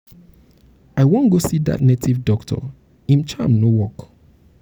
i wan go see dat native doctor im charm no work.